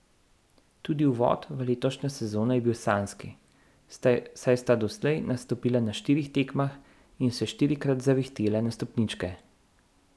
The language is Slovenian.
Tudi uvod v letošnjo sezono je bil sanjski, saj sta doslej nastopila na štirih tekmah in se štirikrat zavihtela na stopničke.